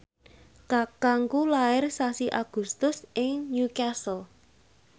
kakangku lair sasi Agustus ing Newcastle